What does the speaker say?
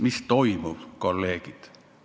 Mis toimub, kolleegid?